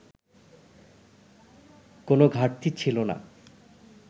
কোনো ঘাটতি ছিল না